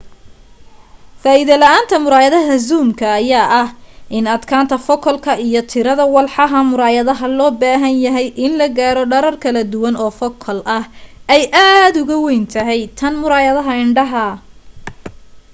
faa'iido la'aanta muraayadaha zoomka ayaa ah in adkaanta focal iyo tirada walxaha muraayadaha loo baahan yahay in la gaaro dherer kala duwan oofocal ah ay aad ugu weyn tahay tan muraayadaha indhaha